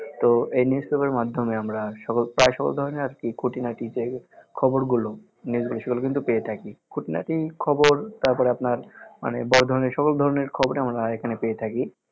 তো এই news pepper এর মাধ্যমে আমরা সকল প্রায় সকল ধরণের আর কি খুঁটি নাটি যে খবরগুলো নিউজগুলো সেগুলো কিন্তু পেয়ে থাকি খুঁটিনাটি খবর তারপর আপনার মানে বড় ধরনের সকল ধরনের খবর আমরা এখানে পেয়ে থাকি